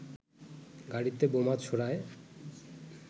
গাড়িতে বোমা ছোড়ায়